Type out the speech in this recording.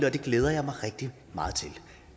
og det glæder jeg mig rigtig meget til